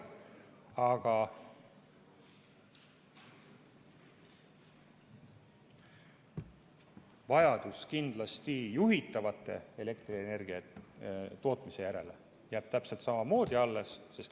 Aga vajadus juhitava elektrienergiatootmise järele jääb kindlasti täpselt samamoodi alles.